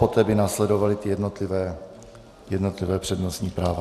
Poté by následovala ta jednotlivá přednostní práva.